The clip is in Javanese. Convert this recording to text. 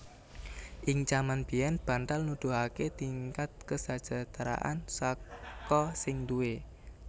Ing jaman biyèn bantal nuduhaké tingkat kasajahtran saka sing duwé